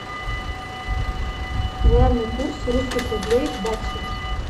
главный курс русских рублей к баксу